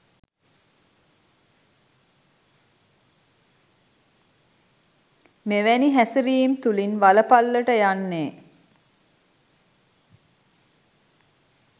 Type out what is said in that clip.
මෙවැනි හැසිරීම් තුලින් වලපල්ලට යන්නේ